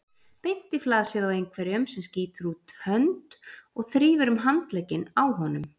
Beint í flasið á einhverjum sem skýtur út hönd og þrífur um handlegginn á honum.